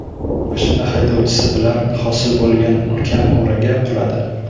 Mashina haydovchisi bilan hosil bo‘lgan ulkan o‘raga quladi.